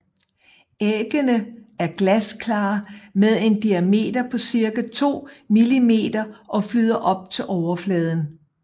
Æggene er glasklare med en diameter på cirka 2 millimeter og flyder op til overfladen